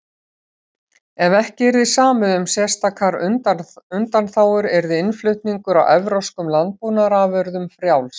ef ekki yrði samið um sérstakar undanþágur yrði innflutningur á evrópskum landbúnaðarafurðum frjáls